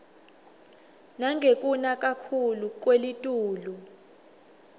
nangekuna kakhuclu kwelitulu